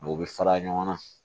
O bɛ fara ɲɔgɔn na